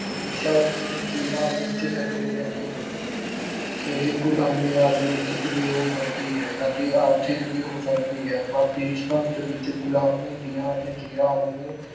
ਹਮੇਸ਼ਾ ਜ ਅਹ ਜ਼ੰਜੀਰਾਂ ਵਿੱਚ ਜਕੜੇ ਰਹਿੰਦੇ ਹਨ ਇਹ ਗੁਲਾਮੀ ਰਾਜਨੀਤਿਕ ਵੀ ਹੋ ਸਕਦੀ ਹੈ ਅਤੇ ਆਰਥਿਕ ਵੀ ਹੋ ਸਕਦੀ ਹੈ ਪਰ ਦੇਸ਼ ਭਗਤੀ ਵਿੱਚ ਗੁਲਾਮੀ ਦੀਆਂ ਜ਼ੰਜੀਰਾਂ ਨੂੰ